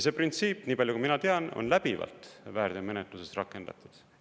See printsiip, nii palju kui mina tean, on läbivalt väärteomenetluses rakendatud.